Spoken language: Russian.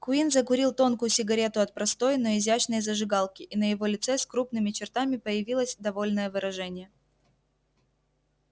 куинн закурил тонкую сигарету от простой но изящной зажигалки и на его лице с крупными чертами появилось довольное выражение